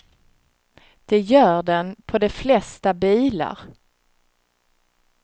Det gör den på de flesta bilar.